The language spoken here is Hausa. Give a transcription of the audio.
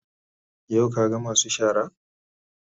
Yau ka ga masu shara?